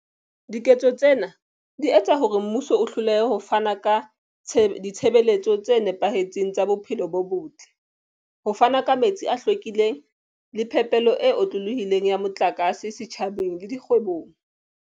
Diketso tsena di etsa hore mmuso o hlolehe ho fana ka ditshebeletso tse nepahetseng tsa bophelo bo botle, ho fana ka metsi a hlwekileng le phepelo e otlolohileng ya motlakase setjhabeng le dikgwebong.